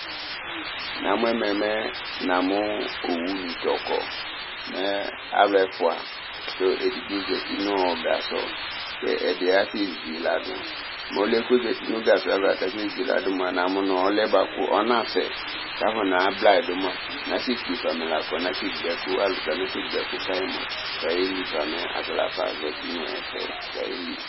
Namu ɛmɛ mɛ namu owuni ta akɔ Mɛ alu ɛfʋa, kʋ edigbo zǝti nʋ gasɔ, kʋ ɛdɩ asezuyi ladu Mɛ ɔlʋ yɛ kʋ ozǝti nʋ gasɔ yɛ ava kʋ akasezuyi ladu yɛ mua, namu nʋ ɔnasɛ Kʋ afɔ nablayidu mua nasekpe fa amɛla kɔnasegbǝ ɛkʋ Alu kana segbǝ ɛkʋ kayi mua kʋ ayeli Ata lafa azǝti nʋ ɛfɛ